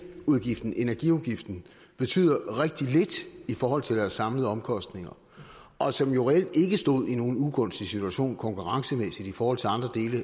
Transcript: udgiften energiudgiften betyder rigtig lidt i forhold til deres samlede omkostninger og som jo reelt ikke stod i nogen ugunstig situation konkurrencemæssigt i forhold til andre dele